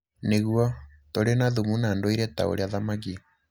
Nĩguo, tũrĩ na thumu na ndũire ta ũrĩa thamaki